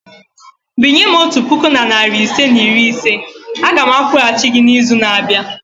Binye m otu puku na narị ise na iri ise a ga m akwụghachi gị n'izu na-abịa.